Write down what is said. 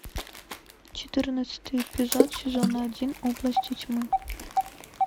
четырнадцатый эпизод сезона один области тьмы